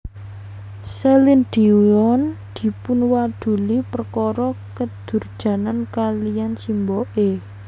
Celine Dion dipunwaduli perkara kedurjanan kaliyan simboke